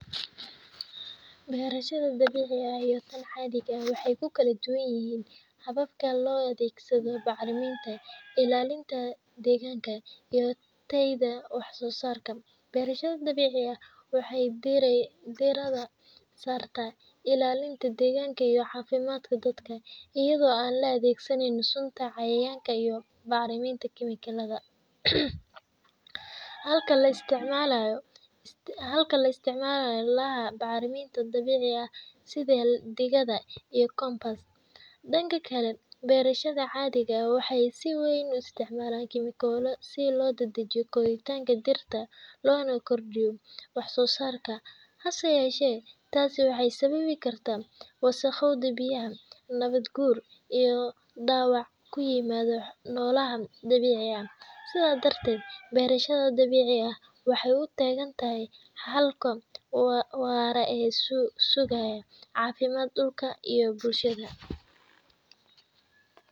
Barahsada dawicika iyo taan cadika ah waxa ku kle duganayihin hawabka loo adgsadoh macliminta ila linta daganka iyo dayada wax so sarkan barashada dawicika waxay barisoh dirada sosarka iyo ila ilinta daganka iyo cafimadka dadka ayado la adag sanayo suunta cayayanka iyo macriminta galada, halka la isticmalayo halka la isticmalayo macrimanta dawicika side diga iyo compas danka kle barashada cadi diga waxay si waan u isticmalahan chimicalo sii lo dada jiyo goritanka dirta loona gordiyoh wax sosarka ha sayasha tasi waxay sawabikartah. Wa saqkoda biyaha nawad guur iyo dawac ku imado nolaha dawicika ah side darta barashada dawicikah waxay u tahay halka waya awaso sugayo cafimda dulka iyo bulshada.